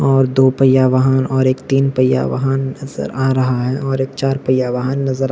-- और दो पहिया वाहन और एक तीन पहिया वाहन नजर आ रहा है और एक चार पहिया वाहन नजर--